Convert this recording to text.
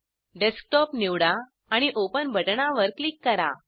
desktop निवडा आणि open बटणावर क्लिक करा